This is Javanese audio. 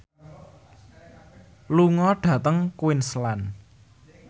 lunga dhateng Queensland